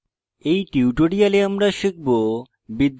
in tutorial আমরা শিখব